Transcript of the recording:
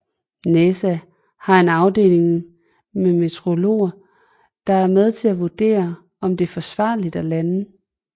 NASA har en afdeling med meteorologer der er med til at vurdere om det er forsvarligt at lande